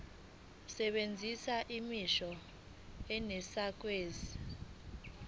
sebenzisa imisho enesakhiwo